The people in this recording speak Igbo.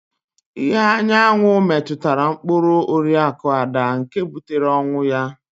Ìhè anyanwụ metụtara mkpụrụ Oriakụ Ada nke butere ọnwụ ya.